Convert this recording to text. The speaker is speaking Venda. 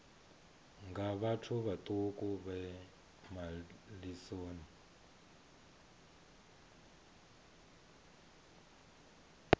nga vhathu vhaṱuku vhe malisoni